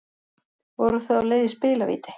Voru þau á leið í spilavíti